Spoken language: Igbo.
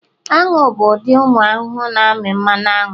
anu bụ ụdị ụmụ ahụhụ na-amị mmanụ aṅụ